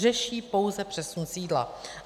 Řeší pouze přesun sídla.